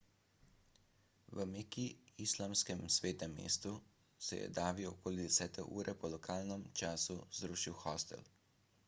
v meki islamskem svetem mestu se je davi okoli desete ure po lokalnem času zrušil hostel